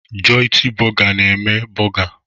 Joịtị borgà na-eme borgà.